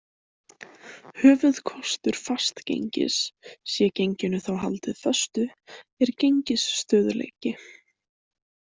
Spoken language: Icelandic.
Höfuðkostur fastgengis- sé genginu þá haldið föstu- er gengisstöðugleiki.